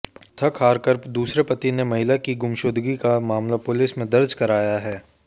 थक हारकर दूसरे पति ने महिला की गुमशुदगी का मामला पुलिस में दर्ज कराया है